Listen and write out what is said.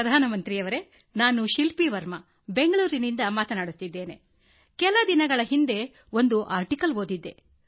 ಪ್ರಧಾನಮಂತ್ರಿಯವರೆ ನಾನು ಶಿಲ್ಪ ವರ್ಮಾ ಬೆಂಗಳೂರಿನಿಂದ ಮಾತನಾಡುತ್ತಿರುವುದು ನಾನು ಕೆಲವು ದಿನಗಳ ಹಿಂದೆ ಸುದ್ದಿಯಲ್ಲಿ ಒಂದು ಲೇಖನ ಓದಿದೆ